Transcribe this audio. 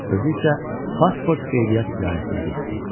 Özü isə pasport qeydiyyat idarəsinə getdi.